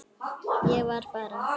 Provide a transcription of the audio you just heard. Ég var bara.